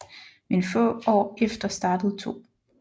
Men få år efter startede 2